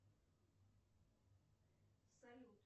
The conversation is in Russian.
салют